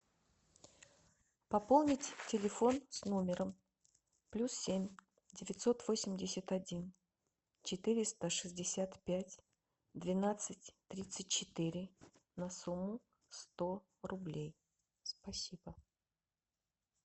пополнить телефон с номером плюс семь девятьсот восемьдесят один четыреста шестьдесят пять двенадцать тридцать четыре на сумму сто рублей спасибо